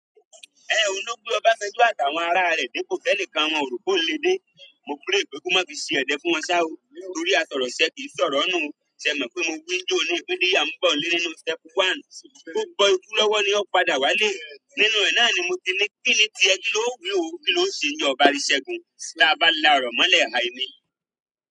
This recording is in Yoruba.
Ẹ ohun lògbé ọbasanjọ́ àti àwọn ará rẹ̀ dépo tí ẹnikan wọn ò rò pé ohun lè dé, mo pray pé kó má fi ṣe ẹ̀dẹ̀ fún wọn sá ó torí asọ̀rọ̀ sẹ́ kì í sọ̀rọ̀ nù o. Ṣe ẹ mọ̀ pé mo wi ni ijóoní pe díyà n bo nile nínú step One, ó gbọ́ ikú lọ́wọ́ ni ó padà wálé. Nínú ẹ̀ náà ni mo ti ní kíni tí ẹ kí ló ò wí ó, kí lóo ṣe ńíjọ ọ bá rí sẹgun tí a bá la ọ̀rọ̀ mọ́lẹ̀ hai ni?